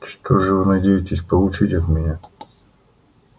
что же вы надеетесь получить от меня